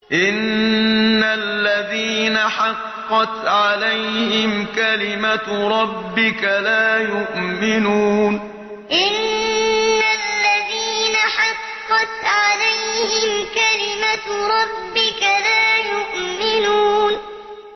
إِنَّ الَّذِينَ حَقَّتْ عَلَيْهِمْ كَلِمَتُ رَبِّكَ لَا يُؤْمِنُونَ إِنَّ الَّذِينَ حَقَّتْ عَلَيْهِمْ كَلِمَتُ رَبِّكَ لَا يُؤْمِنُونَ